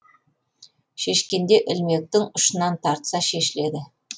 шешкенде ілмектің ұшынан тартса шешіледі